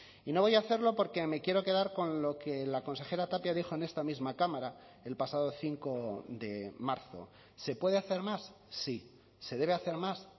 y no voy a hacerlo porque me quiero quedar con lo que la consejera tapia dijo en esta misma cámara el pasado cinco de marzo se puede hacer más sí se debe hacer más